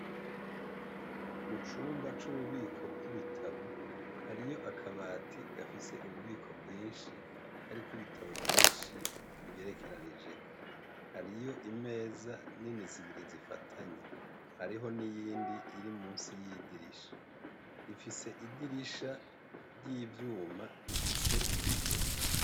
Mucumba c' ububiko bw' ibitabo hariyo akabati gafise ububiko bwinshi kariko ibitabo vyinshi bigerekeranijeko hariyo imeza nini zibiri zifatanye hariho n' iyindi iri musi y' idirisha ifise idirisha ry' ivyuma rifise ibiyo.